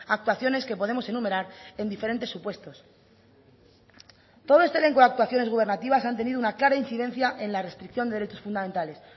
actuaciones que podemos enumerar en diferentes supuestos todo este elenco de actuaciones gubernativas han tenido una clara incidencia en la restricción de derechos fundamentales